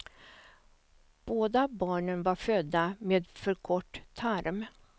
Båda barnen var födda med för kort tarm.